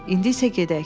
İndi isə gedək.